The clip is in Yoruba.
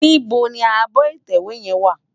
Nibó ni ábò itèwé yèn wá?